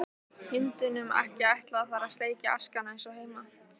Hundunum ekki ætlað þar að sleikja askana eins og heima.